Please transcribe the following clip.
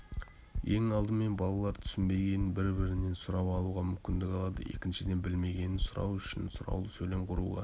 ең алдымен балалар түсінбегенін бір-бірінен сұрап алуға мүмкіндік алады екіншіден білмегенін сұрау үшін сұраулы сөйлем құруға